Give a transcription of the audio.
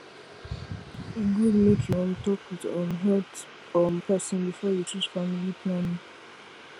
e good make you um talk with um health um person before you choose family planning